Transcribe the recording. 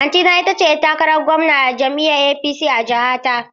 Auntyna ita ce ‘yar takarar gwamna a jam’iyyar APC a jiha ta.